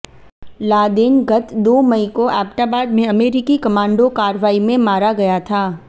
Laden गत दो मई को एबटाबाद में अमेरिकी कमांडो कार्रवाई में मारा गया था